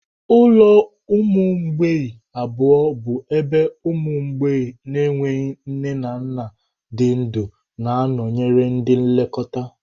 Ụlọ ụmụ mgbei abụọ bụ ebe ụmụ mgbei na-enweghị nne na nna dị ndụ na-anọnyere ndị nlekọta.